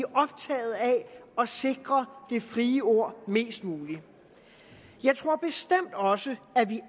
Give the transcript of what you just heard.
optaget af at sikre det frie ord mest muligt jeg tror bestemt også at vi